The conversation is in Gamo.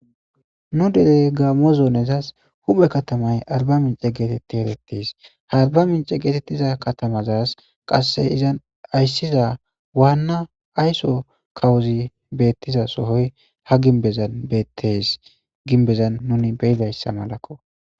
Nu dere gaammo zoonezas huphphe katatmay arbba mincce geetetti erettes. Ha arbba mincce katamazas qasse izas ayssiza waanna ayso kawozi beettiza sohoy ha gimbizan beettees. Gimbezan nuni be'idayssa malakoo.